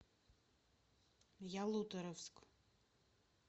ялуторовск